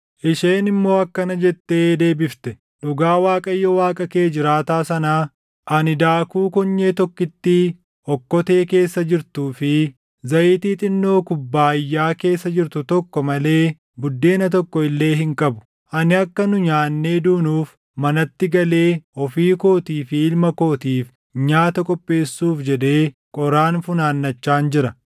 Isheen immoo akkana jettee deebifte; “Dhugaa Waaqayyo Waaqa kee jiraataa sanaa, ani daakuu konyee tokkittii okkotee keessa jirtuu fi zayitii xinnoo kubbaayyaa keessa jirtu tokko malee buddeena tokko illee hin qabu. Ani akka nu nyaannee duunuuf manatti galee ofii kootii fi ilma kootiif nyaata qopheessuuf jedhee qoraan funaannachaan jira.”